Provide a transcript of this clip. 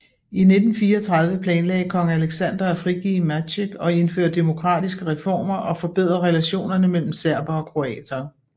I 1934 planlagde kong Aleksander at frigive Maček og indføre demokratiske reformer og forbedre relationerne mellem serbere og kroatere